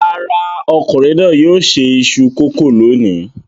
Rárá, ọkùnrin náà yóò se iṣu kòkó lónìí.